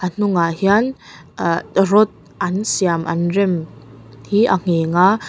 a hnungah hian aa rod an siam an rem hi a ngheng a.